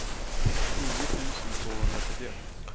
nio tusen tvåhundrasjuttioett